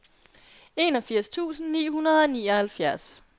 enogfirs tusind ni hundrede og nioghalvfjerds